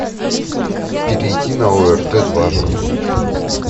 перейти на орт два